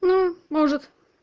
ну может